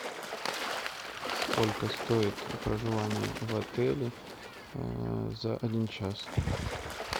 сколько стоит проживание в отеле за один час